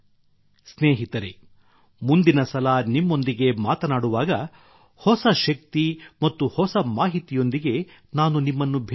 ಸ್ನೇಹಿತರೇ ಮುಂದಿನ ಸಲ ನಿಮ್ಮೊಂದಿಗೆ ಮಾತನಾಡುವಾಗ ಹೊಸ ಶಕ್ತಿ ಮತ್ತು ಹೊಸ ಮಾಹಿತಿಯೊಂದಿಗೆ ನಾನು ನಿಮ್ಮನ್ನು ಭೇಟಿಯಾಗುತ್ತೇನೆ